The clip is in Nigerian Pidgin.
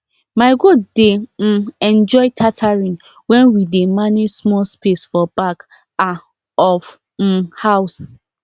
my goat dey um enjoy tethering when we dey manage small space for back um of um house